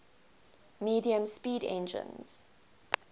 medium speed engines